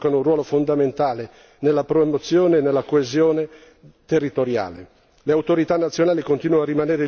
Si tratta di servizi che, per loro natura, giocano un ruolo fondamentale nella promozione della coesione territoriale.